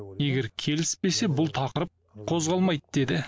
егер келіспесе бұл тақырып қозғалмайды деді